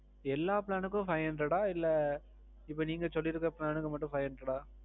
எல்லா plan க்கும் five hundred ஆ இல்ல இப்போ நீங்க சொல்லிருக்குற plan க்கு மட்டும் five hundred ஆ?